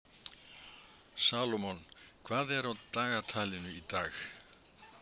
Salómon, hvað er á dagatalinu í dag?